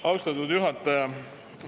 Austatud juhataja!